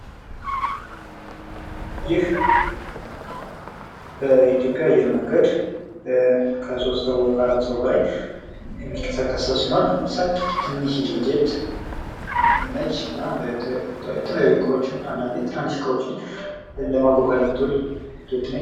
ይህ በኢትዮጵያ አየር መንገድ ከ3 ወይም ከ4 ሰው በላይ የሚንቀሳቀስ ሰው ሲኖር ትንሽዬ ጀት ነችና የተለያዩ እቃዎችን አንዳንደ ትንንሽ እቃዎችን ለማጓጓዝ የምትውል ጀት ነች።